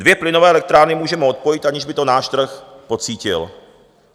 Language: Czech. Dvě plynové elektrárny můžeme odpojit, aniž by to náš trh pocítil.